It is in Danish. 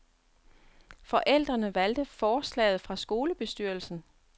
Forældrene valgte forslaget fra skolebestyrelsen.